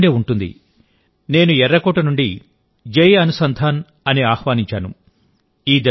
మీకు గుర్తుండే ఉంటుంది నేను ఎర్రకోట నుండి జై అనుసంధాన్ అని ఆహ్వానించాను